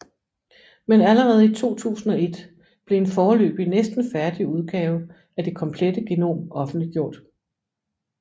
Men allerede i 2001 blev en foreløbig næsten færdig udgave af det komplette genom offentliggjort